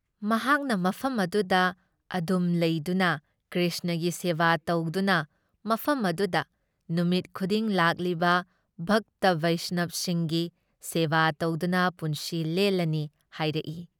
ꯃꯍꯥꯛꯅ ꯃꯐꯝ ꯑꯗꯨꯗ ꯑꯗꯨꯝ ꯂꯩꯗꯨꯅ ꯀ꯭ꯔꯤꯁꯅꯒꯤ ꯁꯦꯕꯥ ꯇꯧꯗꯨꯅ ꯃꯐꯝ ꯑꯗꯨꯗ ꯅꯨꯃꯤꯠ ꯈꯨꯗꯤꯡ ꯂꯥꯛꯂꯤꯕ ꯚꯛꯇ ꯕꯩꯁꯅꯕꯁꯤꯡꯒꯤ ꯁꯦꯕꯥ ꯇꯧꯗꯨꯅ ꯄꯨꯟꯁꯤ ꯂꯦꯜꯂꯅꯤ ꯍꯥꯏꯔꯛꯏ ꯫